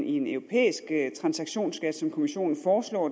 en europæisk transaktionsskat som kommissionen foreslår